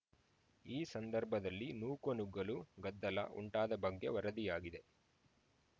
ಈ ಸಂದರ್ಭದಲ್ಲಿ ನೂಕುನುಗ್ಗಲು ಗದ್ದಲ ಉಂಟಾದ ಬಗ್ಗೆ ವರದಿಯಾಗಿದೆ